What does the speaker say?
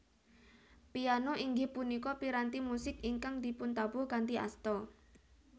Piano inggih punika piranti musik ingkang dipuntabuh kanthi asta